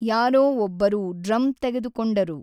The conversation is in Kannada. ಯಾರೋ ಒಬ್ಬರು ಡ್ರಮ್‌ ತೆಗೆದುಕೊಂಡರು.